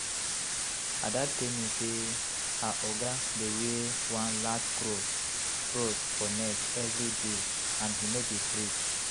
Ada tell me say her oga dey wear one large cross cross for neck everyday and he no be priest